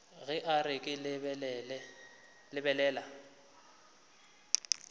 ge a re ke lebelela